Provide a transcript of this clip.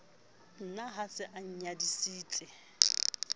ne a se a inyadisitse